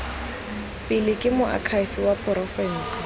pele ke moakhaefe wa porofense